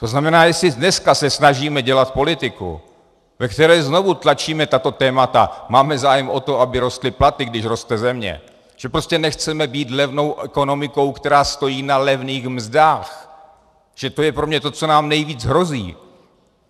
To znamená, jestli dneska se snažíme dělat politiku, ve které znovu tlačíme tato témata, máme zájem o to, aby rostly platy, když roste země, že prostě nechceme být levnou ekonomikou, která stojí na levných mzdách, že to je pro mě to, co nám nejvíc hrozí.